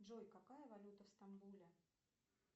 джой какая валюта в стамбуле